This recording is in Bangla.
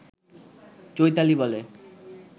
চৈতালি বলে